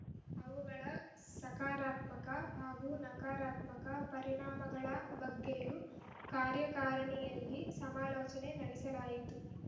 ಅವುಗಳ ಸಕಾರಾತ್ಮಕ ಹಾಗೂ ನಕರಾತ್ಮಕ ಪರಿಣಾಮಗಳ ಬಗ್ಗೆಯೂ ಕಾರ್ಯಕಾರಿಣಿಯಲ್ಲಿ ಸಮಾಲೋಚನೆ ನಡೆಸಲಾಯಿತು